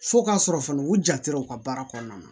Fo k'a sɔrɔ fana u janto ka baara kɔnɔna na